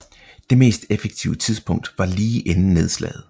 Det mest effektive tidspunkt var lige inden nedslaget